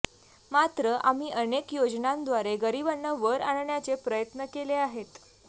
मात्र आम्ही अनेक योजनांद्वारे गरीबांना वर आणण्याचे प्रयत्न केले आहेत